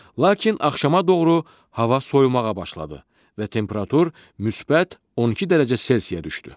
Lakin axşama doğru hava soyumağa başladı və temperatur müsbət 12 dərəcə C-yə düşdü.